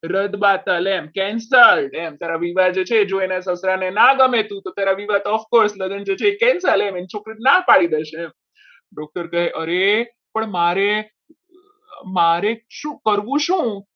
રદ બાદલ એમ cancel તારા વિવાહ જોઈ છે એના પપ્પાને ના ગમે તો તારા વિવાહ તો of course જે લગ્ન છે cancel એની છોકરીને ના પાડી દેશે doctor કહે અરે પણ મારે મારે શું કરવું શું?